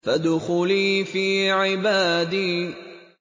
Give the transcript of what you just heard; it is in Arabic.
فَادْخُلِي فِي عِبَادِي